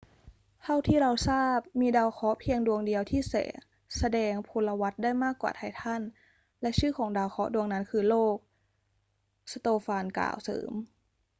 เท่าที่เราทราบ มีดาวเคราะห์เพียงดวงเดียวที่แสดงพลวัตได้มากกว่าไททัน และชื่อของดาวเคราะห์ดวงนั้นคือโลก สโตฟานกล่าวเสริม